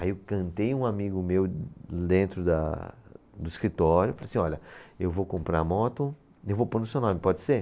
Aí eu cantei um amigo meu dentro da, do escritório e falei assim, olha, eu vou comprar a moto e eu vou pôr no seu nome, pode ser?